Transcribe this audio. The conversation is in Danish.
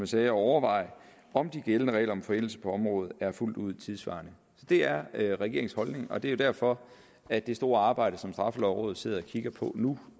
sagde at overveje om de gældende regler om forældelse på området er fuldt ud tidssvarende det er er regeringens holdning og det er derfor at det store arbejde som straffelovrådet sidder og kigger på nu